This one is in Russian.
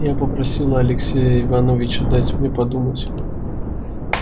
я попросила алексея ивановича дать мне подумать